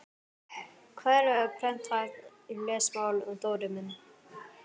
Hvað er prenthæft lesmál Dóri minn?